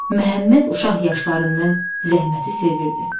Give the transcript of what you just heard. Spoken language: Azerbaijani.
Məhəmməd uşaq yaşlarından zəhməti sevirdi.